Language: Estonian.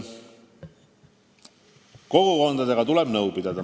Kogukondadega tuleb nõu pidada.